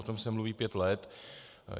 O tom se mluví pět let.